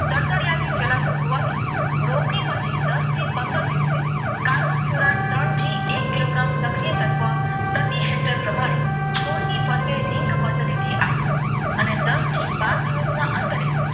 તરતાડીયા થી સેલાવતો રોગમાંથી રોપણી પછી દસ થી પંદર દિવસ દિવસે એક કિલોગ્રામ શક્કરિયા ચીટર પ્રમાણે છોડની સાથે રીંગ પદ્ધતિથી આપવું અને દસ થી બાર દિવસના અંતરે